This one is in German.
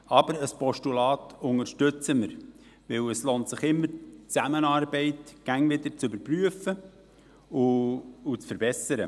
Aber ein Postulat unterstützen wir, weil es sich immer lohnt, die Zusammenarbeit laufend zu überprüfen und zu verbessern.